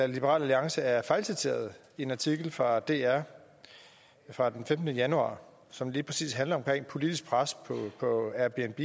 liberal alliance er fejlciteret i en artikel fra dr fra den femtende januar som lige præcis handler om politisk pres på airbnb